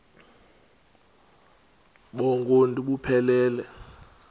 bonk uuntu buphelele